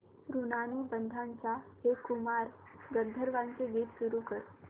ऋणानुबंधाच्या हे कुमार गंधर्वांचे गीत सुरू कर